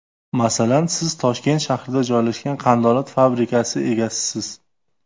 Masalan, siz Toshkent shahrida joylashgan qandolat fabrikasi egasisiz.